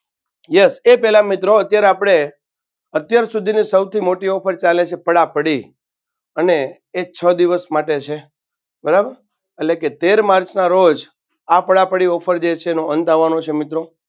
yes એ પેલા મિત્રો અત્યારે આપણે અત્યાર સુધીની સૌથી મોટી offer ચાલે છે. પડાપડી અને એ છ દિવસ માટે છે. બરાબર એટલેકે તેર માર્ચના રોજ આ પડાપડ offer જે છે એનો અંત આવવાનો છે મિત્રો.